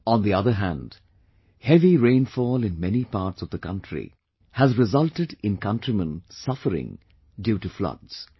On the other hand, heavy rainfall in many parts of the country has resulted in countrymen suffering due to floods